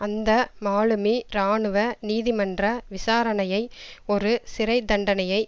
அந்த மாலுமி இராணுவ நீதி மன்ற விசாரணையை ஒரு சிறை தண்டனையை